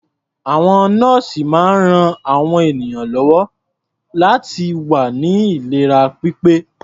Àwọn nọ́ọ̀sì máa ń ran àwọn ènìyàn lọ́wọ́ láti wà ní ìlera pípé.